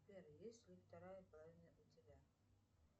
сбер есть ли вторая половина у тебя